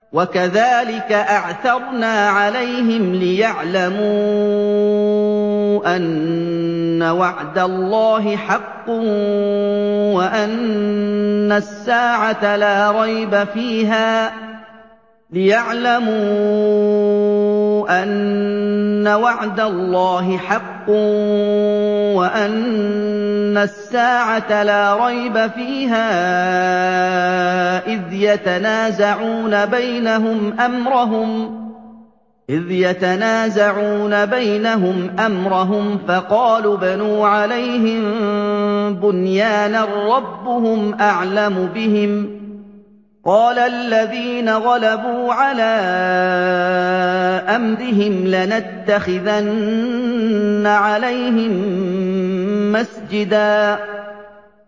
وَكَذَٰلِكَ أَعْثَرْنَا عَلَيْهِمْ لِيَعْلَمُوا أَنَّ وَعْدَ اللَّهِ حَقٌّ وَأَنَّ السَّاعَةَ لَا رَيْبَ فِيهَا إِذْ يَتَنَازَعُونَ بَيْنَهُمْ أَمْرَهُمْ ۖ فَقَالُوا ابْنُوا عَلَيْهِم بُنْيَانًا ۖ رَّبُّهُمْ أَعْلَمُ بِهِمْ ۚ قَالَ الَّذِينَ غَلَبُوا عَلَىٰ أَمْرِهِمْ لَنَتَّخِذَنَّ عَلَيْهِم مَّسْجِدًا